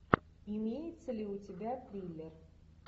имеется ли у тебя триллер